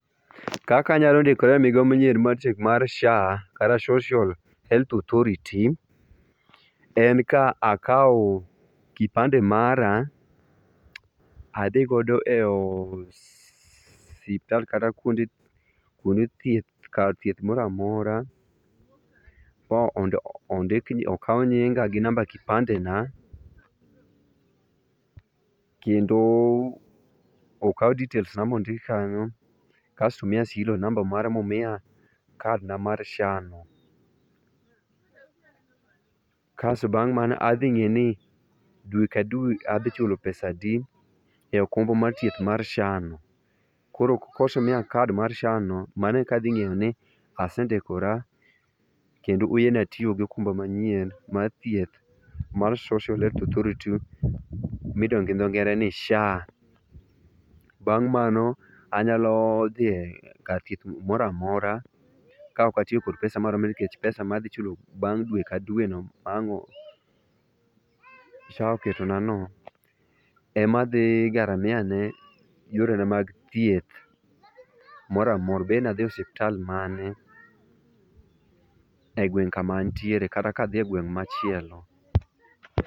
Kaka anyalo ndikora e migao manyien mar SHA, kata Social Health Authority, en ka akawo kipande mara adhi godo e osiptal kata kuonde thieth kar thieth moro amora mondo okaw nyinga gi namba kipandena kendo okaw details na mondik kanyo kasto omiya serial number momiya kad na mar SHA no, kas bang' mano adhi ng'eni ni dwe ka dwe adhi chulo pesa adi e okumba mar thieth mar SHA no koro ka osemiya kad mar SHA no mano eka adhi ng'eyo ni asendikora kendo oyiena tiyo kod okumba manyien mar thieth mar Social Health Authority midendo gi dho ngere ni SHA. Bang' mano anyalo dhi kar thieth moro amora kaok atiyo gi pesa moro niwach pesa madhi chulo bang' dwe ka dweno ma ang' SHA oketonano, ema adhi garamia ne yorena mag thieth moro amora obed ni adhi e osiptal mane egweng' kama antiere kata ka adhi e gweng' machielo.